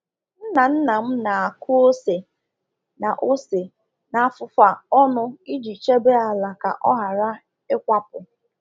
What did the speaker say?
“Nna nna m na-akụ ose na ose na afụfa ọnụ iji chebe ala ka ọ ghara ịkwapụ.”